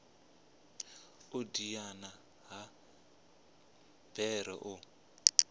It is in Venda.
u diana ha bere u